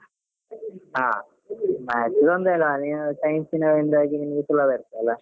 ಹ maths ತೊಂದ್ರೆಲ್ಲಾ ನೀವ್ science ನಿಂದಾಗಿ ಸುಲಭ ಇರ್ತದಲ್ಲ.